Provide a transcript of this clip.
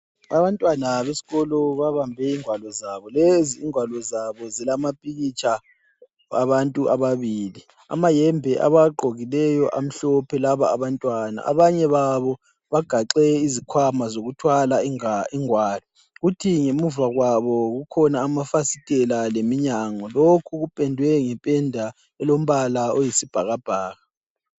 Abantwana besikolo babambe ingwalo zabo. Lezi ingwalo zabo zilamapikitsha abantu ababili. Amayembe abawagqokileyo amhlophe laba abantwana. Abanye babo bagaxe izikhwama zokuthwala ingwalo. Kuthi ngemuva kwabo kukhona amafasitela leminyango. Lokhu kupendwe ngependa elombala oyisibhakabhaka.